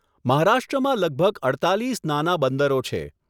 મહારાષ્ટ્રમાં લગભગ અડતાલિસ નાના બંદરો છે.